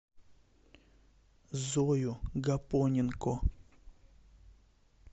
зою гапоненко